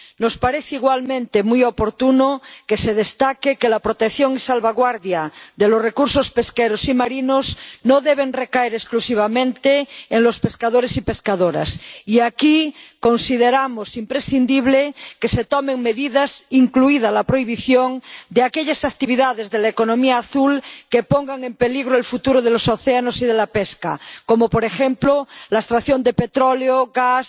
Nos parece, igualmente, muy oportuno que se destaque que la protección y la salvaguardia de los recursos pesqueros y marinos no deben recaer exclusivamente en los pescadores y pescadoras, y aquí consideramos imprescindible que se tomen medidas, incluida la prohibición de aquellas actividades de la economía azul que pongan en peligro el futuro de los océanos y de la pesca, como, por ejemplo, la extracción de petróleo, gas, la